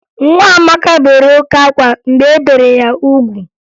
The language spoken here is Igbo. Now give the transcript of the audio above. Nwa Amaka bere oke ákwá mgbe e bere ya ugwu